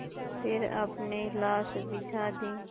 फिर अपनी लाश बिछा दी